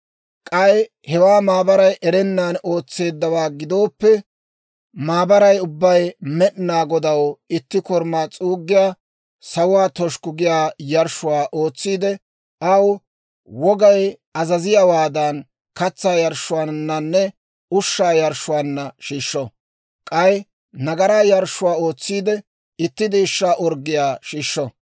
k'ay hewaa maabaray erennan ootseeddawaa gidooppe, maabaray ubbay Med'inaa Godaw itti korumaa s'uuggiyaa, sawuwaa toshukku giyaa yarshshuwaa ootsiide, aw wogay azaziyaawaadan, katsaa yarshshuwaananne ushshaa yarshshuwaanna shiishsho; k'ay nagaraa yarshshuwaa ootsiide, itti deeshshaa orggiyaa shiishsho.